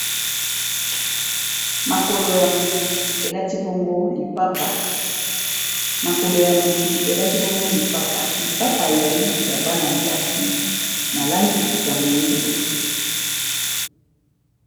Makolo ya motu elati bongo lipapa, lipapa ezali ya bana ya basi na langi ya moyindo.